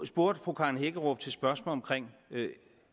spurgte fru karen hækkerup om